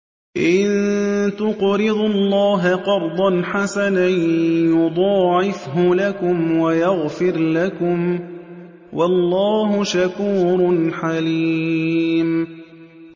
إِن تُقْرِضُوا اللَّهَ قَرْضًا حَسَنًا يُضَاعِفْهُ لَكُمْ وَيَغْفِرْ لَكُمْ ۚ وَاللَّهُ شَكُورٌ حَلِيمٌ